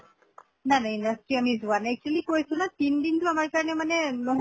নাই নাই industry আমি যোৱা নাই actually কৈছো না তিন দিনটো আমাৰ কাৰণে মানে বহুত